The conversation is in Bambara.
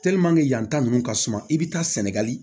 yan ta ninnu ka suma i bɛ taa sɛnɛgali